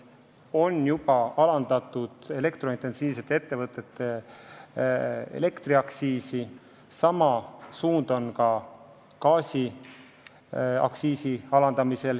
On juba alandatud elektrointensiivsete ettevõtete elektriaktsiisi, sama suund on ka gaasiaktsiisi alandamisel.